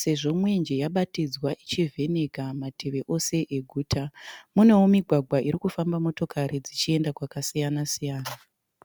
sezvo mwenje yabatidzwa ichivheneka mativi ose eguta. Munewo migwagwa irikufamba motokari dzichienda kwakasiyana siyana.